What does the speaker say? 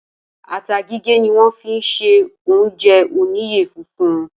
Ata gígé ni wọ́n fi sí oúnjẹ oníyẹ funfun.